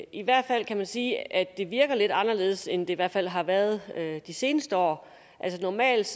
i hvert fald kan man sige at det virker lidt anderledes end det i hvert fald har været de seneste år normalt